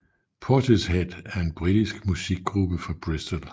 Portishead er en britisk musikgruppe fra Bristol